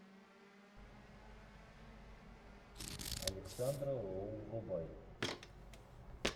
александра роу врубай